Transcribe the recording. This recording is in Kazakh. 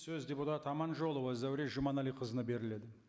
сөз депутат аманжолова зәуре жұманәліқызына беріледі